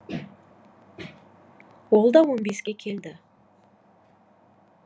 ол да он беске келді